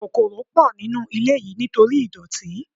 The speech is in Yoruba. Kòkòrò pọ̀ nínú ilé yìí nítorí ìdọ̀tí.